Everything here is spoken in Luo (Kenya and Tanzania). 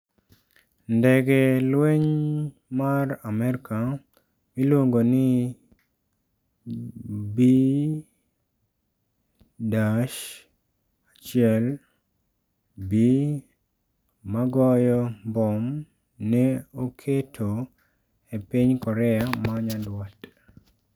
Ndege lweny mag Amerka miluongo ni B-1B magoyo mbom ne oketo e piny Korea manyanduat